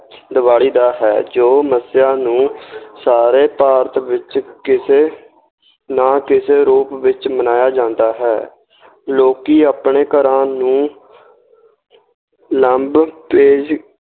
ਦੀਵਾਲੀ ਦਾ ਹੈ, ਜੋ ਮੱਸਿਆ ਨੂੰ ਸਾਰੇ ਭਾਰਤ ਵਿੱਚ ਕਿਸੇ ਨਾ ਕਿਸੇ ਰੂਪ ਵਿੱਚ ਮਨਾਇਆ ਜਾਂਦਾ ਹੈ ਲੋਕੀ ਆਪਣੇ ਘਰਾਂ ਨੂੰ